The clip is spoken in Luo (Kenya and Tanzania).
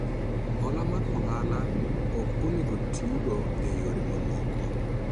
Hola mar ohala ok onego otigo e yore mamoko